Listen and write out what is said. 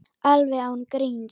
Alveg án gríns.